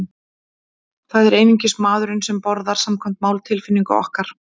Það er einungis maðurinn sem borðar, samkvæmt máltilfinningu okkar.